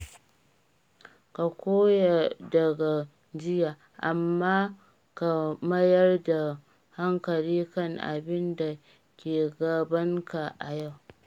Ka koya daga jiya, amma ka mayar da hankali kan abin da ke gabanka yau.